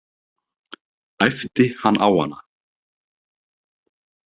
æpti hann á hana.